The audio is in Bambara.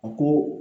A ko